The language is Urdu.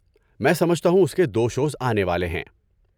میں سمجھتا ہوں اس کے دو شوز آنے والے ہیں۔